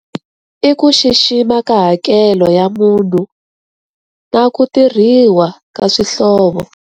I ku xixima ka hakelo ya munhu na ku tirhiwa ka swihlovo.